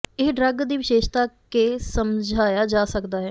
ਇਹ ਡਰੱਗ ਦੀ ਵਿਸ਼ੇਸ਼ਤਾ ਕੇ ਸਮਝਾਇਆ ਜਾ ਸਕਦਾ ਹੈ